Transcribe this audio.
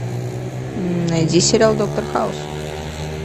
найди сериал доктор хаус